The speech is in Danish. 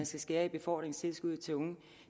skære i befordringstilskuddet til unge